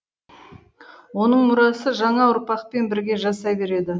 оның мұрасы жаңа ұрпақпен бірге жасай береді